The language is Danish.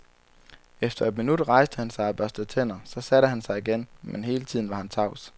Efter et minut rejste han sig og børstede tænder, så satte han sig igen, men hele tiden var han tavs.